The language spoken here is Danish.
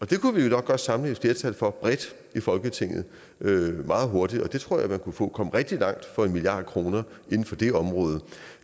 det kunne vi jo nok godt samle et flertal for bredt i folketinget meget hurtigt og jeg tror man kunne kunne komme rigtig langt for en milliard kroner inden for det område